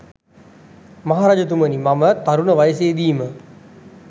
මහ රජතුමනි, මම තරුණ වයසේ දීම